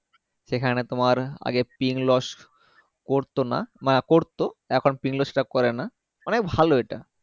সেখানে তোমার আগে ping loss করতোনা না করতো এখন Ping loss টা করেনা অনেক ভালো এটা